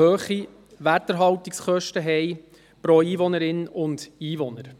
hohe Werterhaltungskosten pro Einwohnerin, pro Einwohner haben.